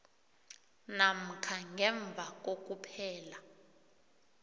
namkha ngemva kokuphela